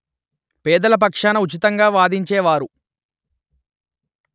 పేదల పక్షాన ఉచితంగా వాదించేవారు